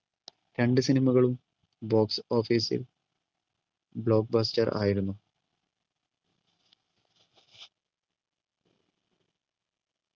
രണ്ടു cinema കളും box office ൽ block buster ആയിരുന്നു